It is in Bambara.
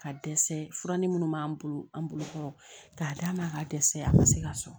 Ka dɛsɛ fura ni munnu b'an bolo an bolo kɔrɔ k'a d'a ma ka dɛsɛ a ma se ka sɔrɔ